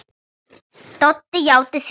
Doddi játti því.